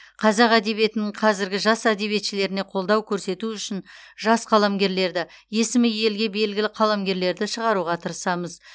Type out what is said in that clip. қазақ әдебиетінің қазіргі жас әдебиетшілеріне қолдау көрсету үшін жас қаламгерлерді есімі елге белгілі қаламгерлерді шығаруға тырысамыз